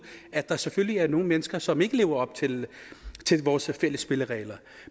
at der selvfølgelig er nogle mennesker som ikke lever op til vores fælles spilleregler